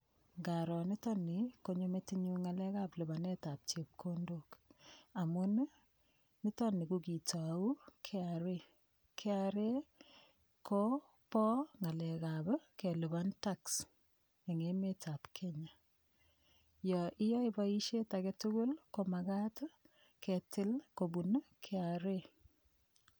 Ngaro nitokni konyo metinyu ng'alekab lipanetab chepkondok amun nitoni kokitou kra kra ko bo ng'alekab kelipan tax eng' emetab Kenya yo iyoe boishet age tugul komakat kitil kobun kra